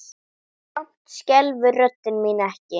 Samt skelfur rödd mín ekki.